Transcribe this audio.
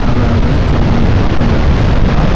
aga we cham hogai bu kam nu kunu chang thaga.